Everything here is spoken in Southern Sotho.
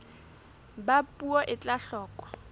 ba puo e tla hloka